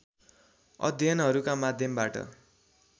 अध्ययनहरूका माध्यमबाट